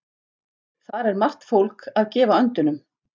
Þar er margt fólk að gefa öndunum.